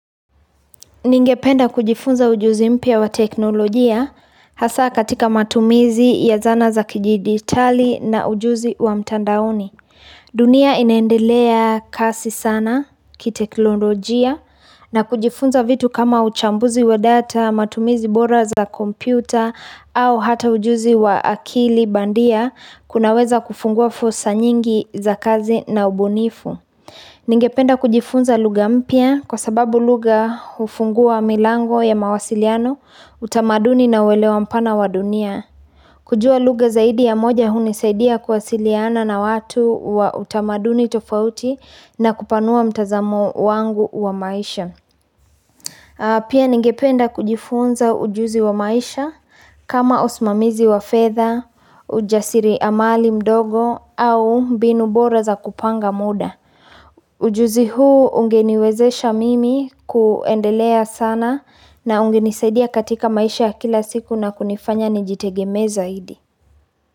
Ningependa kujifunza ujuzi mpya wa teknolojia hasa katika matumizi ya zana za kijiditali na ujuzi wa mtandaoni. Dunia inaendelea kasi sana kiteknolojia na kujifunza vitu kama uchambuzi wa data, matumizi bora za kompyuta au hata ujuzi wa akili bandia kunaweza kufungua fursa nyingi za kazi na ubunifu. Ningependa kujifunza lugha mpya kwa sababu lugha hufungua milango ya mawasiliano, utamaduni na uelewa mpana wa dunia. Kujua lugha zaidi ya moja hunisaidia kuwasiliana na watu wa utamaduni tofauti na kupanua mtazamo wangu wa maisha. Pia ningependa kujifunza ujuzi wa maisha kama usmamizi wa fedha ujasiriamali mdogo au mbinu bora za kupanga muda. Ujuzi huu unge niwezesha mimi kuendelea sana na ungenisaidia katika maisha ya kila siku na kunifanya nijitegemee zaidi.